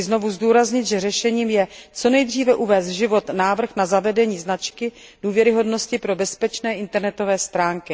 Chci znovu zdůraznit, že řešením je co nejdříve uvést do života návrh na zavedení značky důvěryhodnosti pro bezpečné internetové stránky.